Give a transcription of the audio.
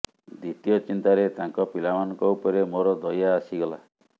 ଦ୍ୱିତୀୟ ଚିନ୍ତାରେ ତାଙ୍କ ପିଲାମାନଙ୍କ ଉପରେ ମୋର ଦୟା ଆସିଥିଲା